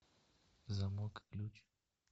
замок ключ